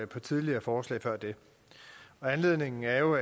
på tidligere forslag før det anledningen er jo